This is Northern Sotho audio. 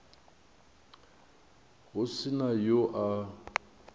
go se na yo a